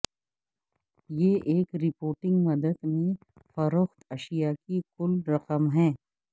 یہ ایک رپورٹنگ مدت میں فروخت اشیا کی کل رقم ہے